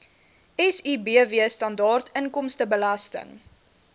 sibw standaard inkomstebelasting